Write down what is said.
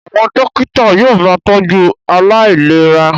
Àwọn dókítà yóò máa tọ́jú aláìlera